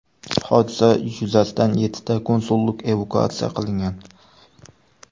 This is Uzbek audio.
Hodisa yuzasidan yettita konsullik evakuatsiya qilingan.